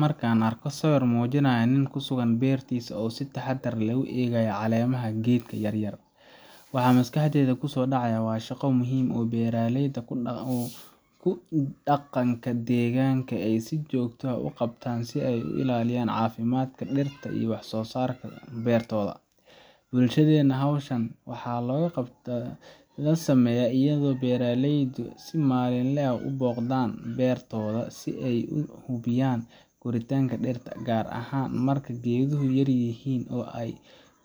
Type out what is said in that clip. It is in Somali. Marka aan arko sawir muujinaya nin ku sugan beertiisa oo si taxaddar leh u eegaya caleemaha geed yar, waxa maskaxdayda ku soo dhacaya shaqo muhiim ah oo beeraleyda ku dhaqanka deegaanka ay si joogto ah u qabtaan si ay u ilaaliyaan caafimaadka dhirta iyo wax-soo-saarka beertooda. Bulshadeena, hawshan waxaa lagu qabta sameeyaa iyadoo beeraleydu si maalinle ah u booqdaan beertooda si ay u hubiyaan koritaanka dhirta, gaar ahaan marka geeduhu yaryihiin oo ay